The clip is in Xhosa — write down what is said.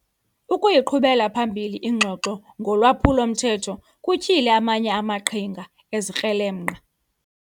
Ukuyiqhubela phambili ingxoxo ngolwaphulo-mthetho kutyhile amanye amaqhinga ezikrelemnqa.